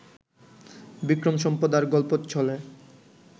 বিক্রম সম্পদ আর গল্পচ্ছলে